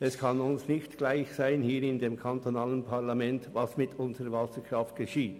Es kann uns im kantonalen Parlament nicht gleichgültig sein, was mit unserer Wasserkraft geschieht.